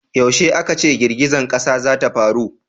yaushe a ka ce girgizan ƙasa za ta faru?